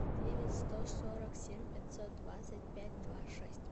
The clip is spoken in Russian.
девять сто сорок семь пятьсот двадцать пять два шесть